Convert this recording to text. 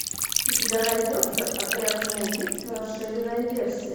у тебя найдется отряд самоубийц расширенная версия